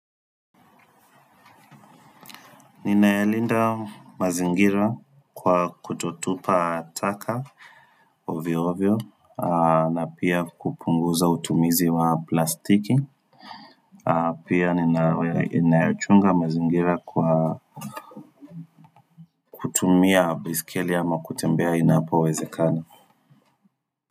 Nina yalinda mazingira kwa kutotupa taka ovyo ovyo na pia kupunguza utumizi wa plastiki Pia ninayachunga mazingira kwa kutumia besikeli ama kutembea inapoweze kana.